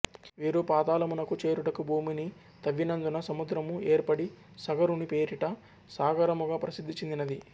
వీరు పాతాళమునకు చేరుటకు భూమిని తవ్వినందున సముద్రము యేర్పడి సగరుని పేరిట సాగరముగా ప్రసిద్ధి చెందినది